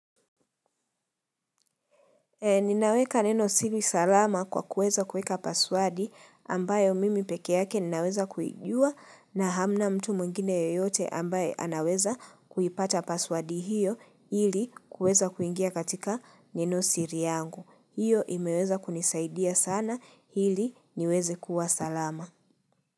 Ninaweka neno siri salama kwa kuweza kuweka pasiwadi ambayo mimi peke yake ninaweza kuijua na hamna mtu mwngine yoyote ambayo anaweza kuipata pasiwadi hiyo ili kuweza kuingia katika neno siri yangu. Hiyo imeweza kunisaidia sana ili niweze kuwa salama.